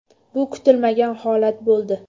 Bu kutilmagan holat bo‘ldi.